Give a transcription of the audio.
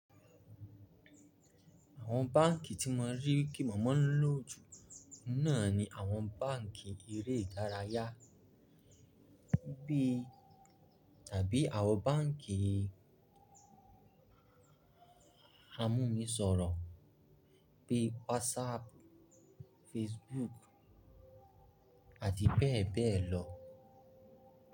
Àwọn báǹkì tí mo rí kí mo máa lò jù oun náà ni àwọn báǹkì eré ìdárayá bí tàbí àwọn báǹkì amúnisọrọ̀ bí WhatsApp, Facebook àti bẹ́ẹ̀ bẹ́ẹ̀ lọ.